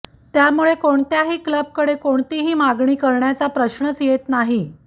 त्यामुळे कोणत्याही क्लबकडे कोणतीही मागणी करण्याचा प्रश्नच येत नाही